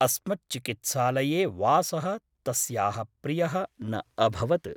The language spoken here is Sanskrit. अस्मच्चिकित्सालये वासः तस्याः प्रियः न अभवत् ।